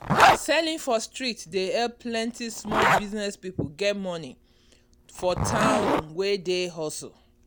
selling for street dey help plenty small business people get money for town wey dey hustle.